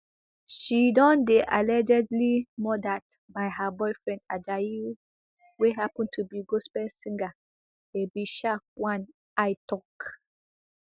she don dey allegedly murdered by her boyfriend ajayi wey happun to be gospel singer babysharkonei tok